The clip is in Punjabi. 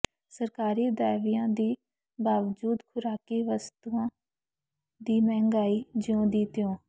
ਸਰਕਾਰੀ ਦਾਅਵਿਆਂ ਦੇ ਬਾਵਜੂਦ ਖੁਰਾਕੀ ਵਸਤਾਂ ਦੀ ਮਹਿੰਗਾਈ ਜਿਉਂ ਦੀ ਤਿਉਂ